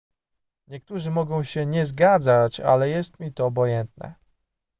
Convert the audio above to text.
niektórzy mogą się nie zgadzać ale jest mi to obojętne